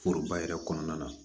Foroba yɛrɛ kɔnɔna na